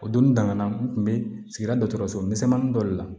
O doni daminɛna n kun be sigida dɔso misɛnmanin dɔ de la